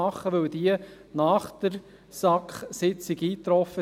Denn diese trafen nach der Sitzung der SAK ein.